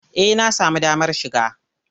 Eh na samu damar shiga.